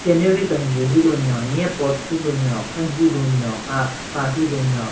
Scenery kenjvu hyu lunyo nye pot hyu lunyo khan hyu lunyo ka ka hyu lunyo.